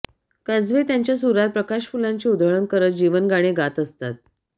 काजवे त्यांच्या सुरात प्रकाशफुलांची उधळण करत जीवनगाणे गात असतात